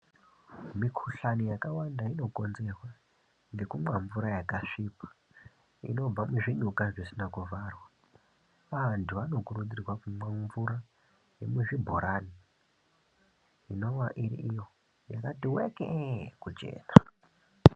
Mikhuhlani yakawanda inokonzerwa nekumwa mvura dzakasvipa inobva muzvinyuka zvisina kuvharwa. Antu anokurudzirwa kuma mvura yemuzvibhorani inova iri iyo yakatiweke kuchena.